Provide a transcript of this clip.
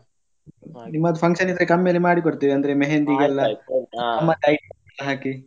ನಿಮ್ಮದು function ಇದ್ರೆ ಕಮ್ಮಿಯಲ್ಲಿ ಮಾಡಿಕೊಡ್ತೇವೆ ಅಂದ್ರೆ मेहंदी ಗೆಲ್ಲಾ ನಮ್ಮದ್ item ಎಲ್ಲ ಹಾಕಿ.